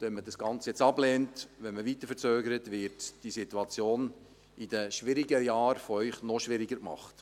Wenn man jetzt das Ganze ablehnt und weiter verzögert, wird diese Situation in den schwierigen Jahren von Ihnen noch schwieriger gemacht.